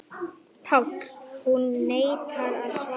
PÁLL: Hún neitar að svara.